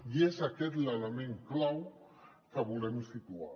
i és aquest l’ele·ment clau que volem situar